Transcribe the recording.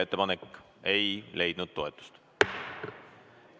Ettepanek ei leidnud toetust.